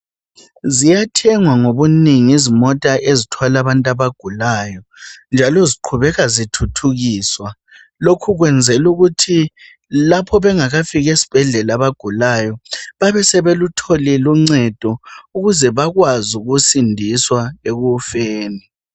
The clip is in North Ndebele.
Ziyathengwa ngobunengi izimota ezithwala abantu abagulayo. Njalo ziqhubeka zithuthukiswa. Lokhu kwenzelwa ukuthi, lapho bengakafiki esbhedlela abagulayo, babeselutholile uncedo. Ukuze bakwazi ukusindiswa ekufeni.